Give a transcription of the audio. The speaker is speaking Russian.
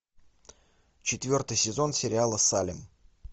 четвертый сезон сериала салем